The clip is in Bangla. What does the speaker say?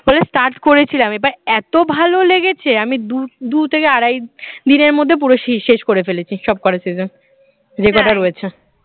তাহলে start করেছিলাম এবার এত ভালো লেগেছে, আমি দূ থেকে আড়াই দিনের মধ্যে পুরো শেষ শেষ করে ফেলেছি সবকটা season যে কটা রয়েছে